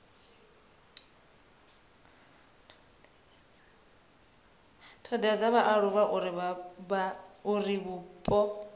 thodea dza vhaaluwa uri vhupo